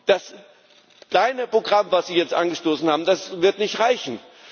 Das kleine Programm, das Sie jetzt angestoßen haben, wird nicht reichen.